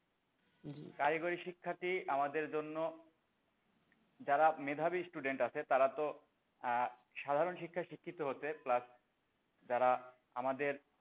কারিগরি শিক্ষাটি আমাদের জন্য যারা মেধাবী student আছে তারা তো আহ সাধারণ শিক্ষায় শিক্ষিত হচ্ছে plus যারা আমাদের,